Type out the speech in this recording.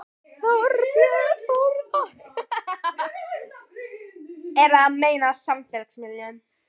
Þorbjörn Þórðarson: Eru að meina á samfélagsmiðlum?